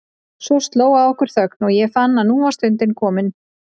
Svo sló á okkur þögn og ég fann að nú var stundin komin.